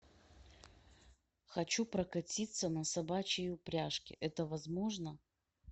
хочу прокатиться на собачьей упряжке это возможно